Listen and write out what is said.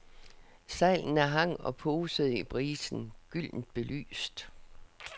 Sejlene hang og posede i brisen, gyldent belyst.